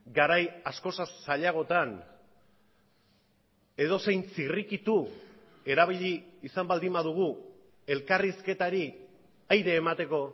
garai askoz zailagotan edozein zirrikitu erabili izan baldin badugu elkarrizketari aire emateko